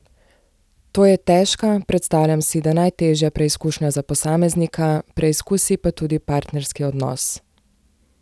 To je težka, predstavljam si, da najtežja preizkušnja za posameznika, preizkusi pa tudi partnerski odnos.